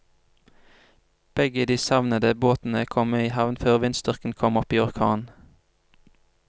Begge de savnede båtene kom i havn før vindstyrken kom opp i orkan.